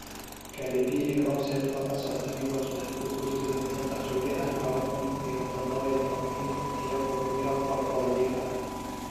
Cardi B iyo Offset oo ka socda Migos waxay ku guursadeen si qarsoodi ah lawa kuun iyo tadhawa iyo tobaanki , iyagoo ku jira qolkooda jiifka.